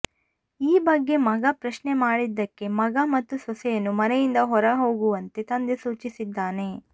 ಈ ಬಗ್ಗೆ ಮಗ ಪ್ರಶ್ನೆ ಮಾಡಿದ್ದಕ್ಕೆ ಮಗ ಮತ್ತು ಸೊಸೆಯನ್ನು ಮನೆಯಿಂದ ಹೊರಹೋಗುವಂತೆ ತಂದೆ ಸೂಚಿಸಿದ್ದಾನೆ